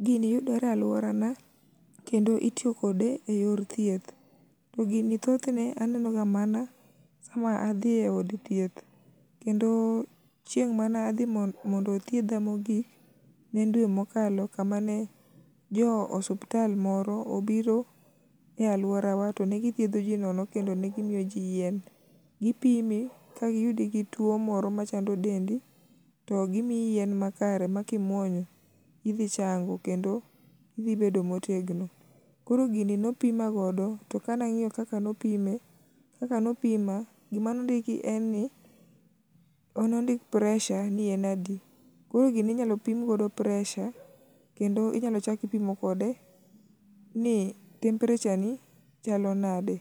Gini yudore e alworana kendo itiyo kode e yor thieth, to gini thothne anenoga mana sama adhi e od thieth kendo chieng' mana dhi mondo othiedha mogik ne en dwe mokalo kama ne jo osuptal moro obiro e alworawa to ne githiedho ji nono kendo ne gimiyo ji yien. Gipimi kagiyudi gi tuwo moro machando dendi, to gimiyi yien makare ma kimuonyo, idhi chango kendo idhi bet motegno. Koro gini nopima godo to ka nang'iyo kaka nopima, gima nondiki en ni nondik [cs[pressure ni en adi. Koro gini inyslo pim godo pressure kendo inyalo chak ipimo kode ni temperature ni chalo nade,